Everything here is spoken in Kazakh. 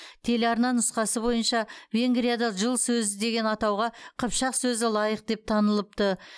телеарна нұсқасы бойынша венгрияда жыл сөзі деген атауға қыпшақ сөзі лайық деп танылыпты